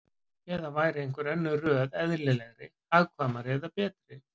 Eða væri einhver önnur röð eðlilegri, hagkvæmari eða betri?